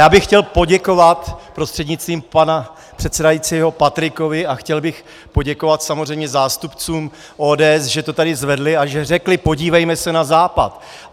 Já bych chtěl poděkovat prostřednictvím pana předsedajícího Patrikovi a chtěl bych poděkovat samozřejmě zástupcům ODS, že to tady zvedli a že řekli: podívejme se na Západ.